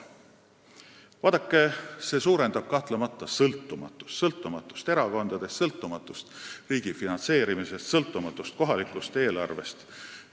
Vaadake, see suurendab kahtlemata sõltumatust – sõltumatust erakondadest, sõltumatust riigi finantseerimisest, sõltumatust kohalikust eelarvest.